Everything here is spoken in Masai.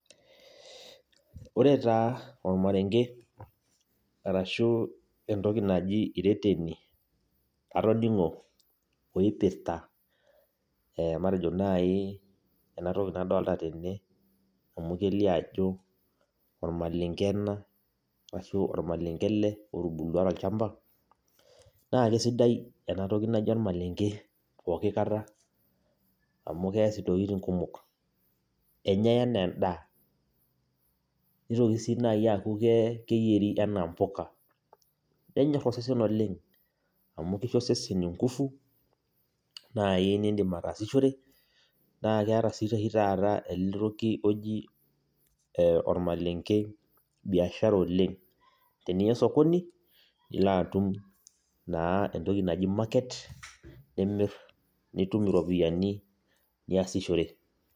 Ore taa ormarenge arashuu entoki naji ireteni latoning'o entoki oopirta naaji ena toki nadolita tene amu kelio ajo ormalenge ena ashuu ormalenge ele otubulua tolchamba naa keisdai ele toki oji ormalenge amu keeas intokitin kumok enyai enaa endaaa nitokini sii naaji aaku keyieri enaa impuka nenyor osesen oleng amu kesiho osesen inguvu naai nindim ataasishore naa keeta sii oshi taata ele toki oji ormalenge biashara oleng tniya sokini lino atum entoki naji market nitum iropiyiani niasishore.